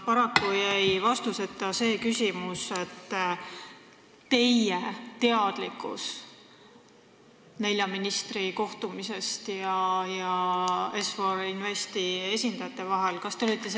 Paraku jäi vastuseta küsimus teie teadlikkusest nelja ministri ja Est-For Investi esindajate vahelise kohtumise kohta.